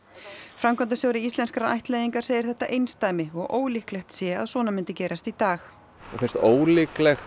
framkvæmdastjóri Íslenskrar ættleiðingar segir þetta einsdæmi og ólíklegt sé að svona myndi gerast í dag ólíklegt